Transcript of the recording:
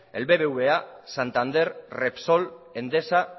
el bbva santander repsol endesa